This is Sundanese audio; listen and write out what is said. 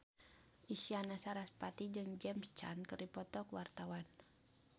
Isyana Sarasvati jeung James Caan keur dipoto ku wartawan